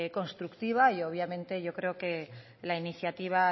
constructiva y obviamente yo creo que la iniciativa